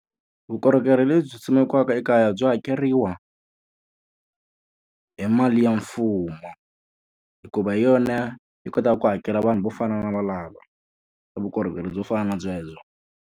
Vukorhokeri lebyi simekiweke ekaya byi hakeriwa hi mali ya mfumo. Hikuva hi yona yi kotaka ku hakela vanhu vo fana na valavo, vukorhokeri byo fana na byebyo.